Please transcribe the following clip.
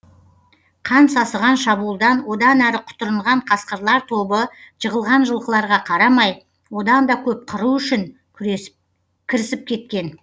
қан сасыған шабуылдан одан әрі құтырынған қасқырлар тобы жығылған жылқыларға қарамай одан да көп қыру үшін кірісіп кеткен